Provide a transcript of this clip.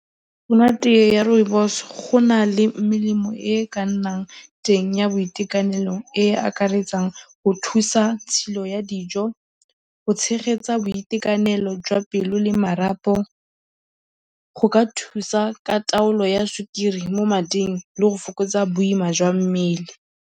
Monate wa rooibos, go na le melemo e e ka nnang teng ya boitekanelo e e akaretsang go thusa tshilo ya dijo, go tshegetsa boitekanelo jwa pelo le marapo, go ka thusa ka taolo ya sukiri mo mading le go fokotsa boima jwa mmele.